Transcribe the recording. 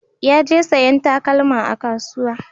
Ya je sayan takalma a kasuwa